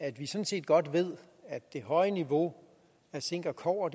at vi sådan set godt ved at det høje niveau af zink og kobber